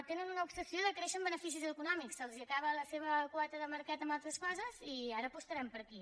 tenen una obsessió de créixer en beneficis econòmics se’ls acaba la seva quota de mercat en altres coses i ara apostaran per aquí